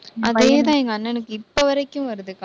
அதே தான் எங்க அண்ணனுக்கு இப்ப வரைக்கும் வருதுக்கா.